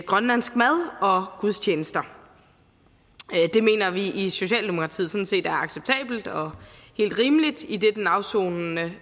grønlandsk mad og gudstjenester det mener vi i socialdemokratiet sådan set er acceptabelt og helt rimeligt idet den afsonende